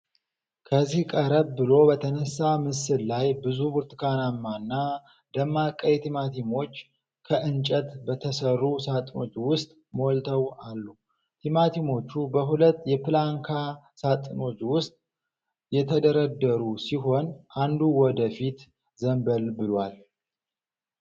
በዚህ ቀረብ ብሎ በተነሳ ምስል ላይ ብዙ ብርቱካናማና ደማቅ ቀይ ቲማቲሞች ከእንጨት በተሠሩ ሣጥኖች ውስጥ ሞልተው አሉ። ቲማቲሞቹ በሁለት የፕላንካ ሣጥኖች ውስጥ የተደረደሩ ሲሆን፣ አንዱ ወደ ፊት ዘንበል ብሏል።